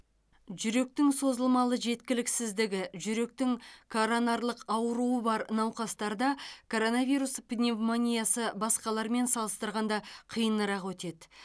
жүректің созылмалы жеткіліксіздігі жүректің коронарлық ауруы бар науқастарда коронавирус пневмониясы басқалармен салыстырғанда қиынырақ өтеді